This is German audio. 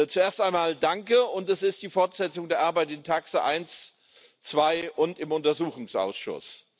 Zuerst einmal Danke, und es ist die Fortsetzung der Arbeit in TAXE, TAX2 und im Untersuchungsausschuss.